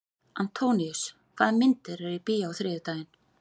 Antóníus, hvaða myndir eru í bíó á þriðjudaginn?